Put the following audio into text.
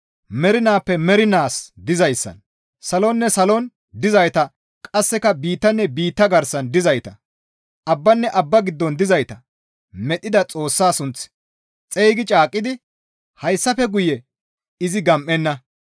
mernaappe mernaas dizayssan, salonne salon dizayta qasseka biittanne biitta garsan dizayta, abbanne abba giddon dizayta medhdhida Xoossaa sunth xeygi caaqqidi, «Hayssafe guye izi gam7enna!